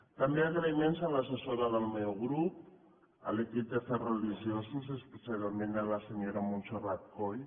també agraïments a l’assessora del meu grup a l’equip d’afers religiosos especialment a la senyora montserrat coll